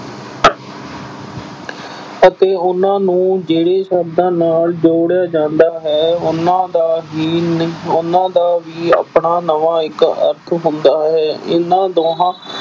ਅਤੇ ਉਨ੍ਹਾਂ ਨੂੰ ਜਿਹੜੇ ਸ਼ਬਦਾਂ ਨਾਲ ਜੋੜਿਆ ਜਾਂਦਾ ਹੈ, ਉਨ੍ਹਾਂ ਦਾ ਵੀ ਨ ਅਹ ਉਨ੍ਹਾਂ ਦਾ ਵੀ ਆਪਣਾ ਨਵਾਂ ਇੱਕ ਅਰਥ ਹੁੰਦਾ ਹੈ। ਏਨਾ ਦੋਹਾਂ